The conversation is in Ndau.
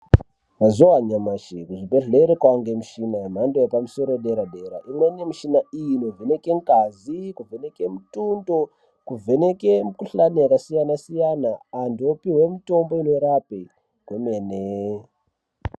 Mzuva anyamashi kuzvibhedlera kwaane mishina wepamsoro yepadera dera ,imweni mishina inovheneke ngazi, kuvheneke mitombo ,kuvheneke mikuhlane yakasiyana siyana antu vopiwe mitombo inorapa gomene.